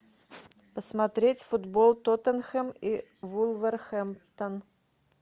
посмотреть футбол тоттенхэм и вулверхэмптон